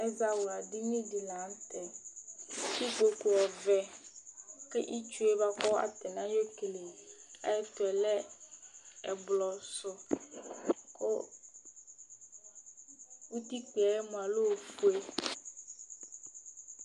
Ɛzawla dìní di la ntɛ Ikpoku ɔvɛ kʋ itsu ye bʋakʋ atani ayɔ kele ayʋ ɛtu lɛ ɛblɔ su kʋ ʋtikpa ta lɛ ɔfʋe